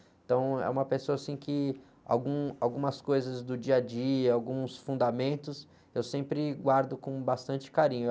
Então, é uma pessoa, assim, que algum, algumas coisas do dia a dia, alguns fundamentos, eu sempre guardo com bastante carinho.